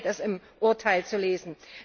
So steht es im Urteil zu lesen.